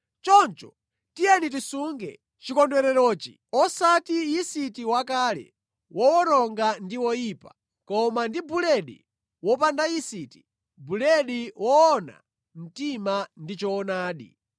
Choncho, tiyeni tisunge chikondwererochi, osati ndi yisiti wakale, wowononga ndi woyipa, koma ndi buledi wopanda yisiti, buledi woona mtima ndi choonadi.